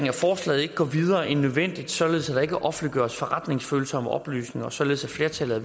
at forslaget ikke går videre end nødvendigt således at der ikke offentliggøres forretningsfølsomme oplysninger således at flertallet af